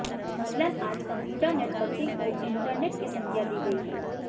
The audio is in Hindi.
मसलन आज कंप्यूटर नेटवर्किंग को इंटरनेट की संज्ञा दी गई है